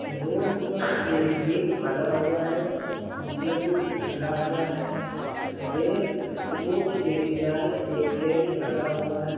Road पर एक gate बना हुआ है जो खुला हुआ है रे रोड के किनारे एक टेंट लगा हुआ है।